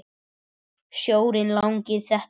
Sjórinn langi þetta er.